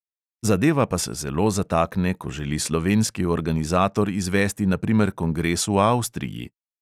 Zadeva pa se zelo zatakne, ko želi slovenski organizator izvesti na primer kongres v avstriji.